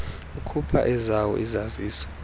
akhupha ezawo izazisi